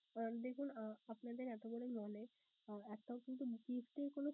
আহ দেখুন আহ আপনাদের এতো বড় mall এ একটাও কিন্তু gift এর কোন